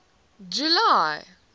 july